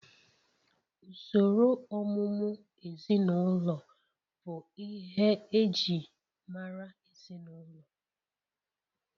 Usoro ọmụmụ ezinụlọ bụ ihe e ji mara ezinụlọ